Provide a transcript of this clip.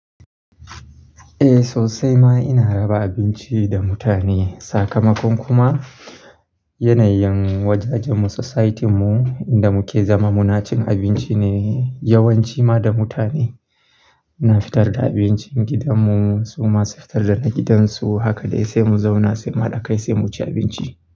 Eh, sosai ma ina raba abinci da mutane. Sakamakon kuma yanayin wajajenmu, society mu inda muke zama muna cin abinci ne yawanci ma da mutane. Muna fitar da abincin gidanmu, su ma su fitar da na gidansu. Haka dai sai mu zauna sai mu hada kai sai mu ci abinci.